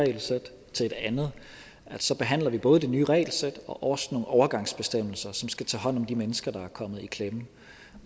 regelsæt til et andet behandler vi både det nye regelsæt og også nogle overgangsbestemmelser som skal tage hånd om de mennesker der er kommet i klemme